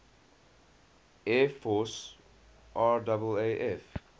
air force raaf